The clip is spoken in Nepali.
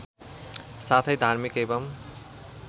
साथै धार्मिक एवं